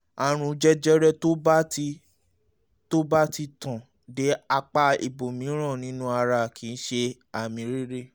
àrùn jẹjẹrẹ tó bá ti tó bá ti tàn dé apá ibòmíràn nínú ara kì í ṣe àmì rere